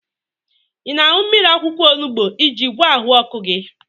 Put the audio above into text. Ị na-aṅụ mmiri akwụkwọ onubu iji gwọọ ahụ ọkụ gị?